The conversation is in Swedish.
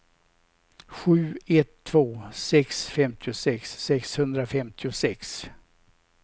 sju ett två sex femtiosex sexhundrafemtiosex